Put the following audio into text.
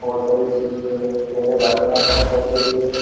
और सभी चीजें लेके जाते हैं अपने घर के लिए।